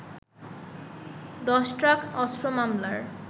১০ truck অস্ত্র মামলার